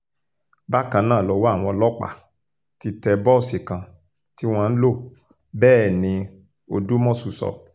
bákan náà lọwọ́ àwọn ọlọ́pàá ti tẹ bọ́ọ̀sì kan tí wọ́n ń lò bẹ́ẹ̀ ní odúmọ́sù sọ